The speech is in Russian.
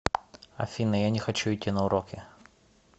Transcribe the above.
афина я не хочу идти на уроки